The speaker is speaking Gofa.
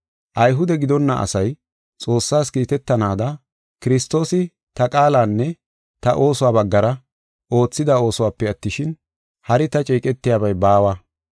Ayhude gidonna asay Xoossaas kiitetanaada, Kiristoosi ta qaalanne ta oosuwa baggara oothida oosuwape attishin, hari ta ceeqetiyabay baawa.